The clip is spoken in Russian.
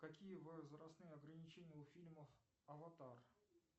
какие возрастные ограничения у фильмов аватар